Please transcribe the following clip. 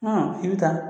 i bɛ taa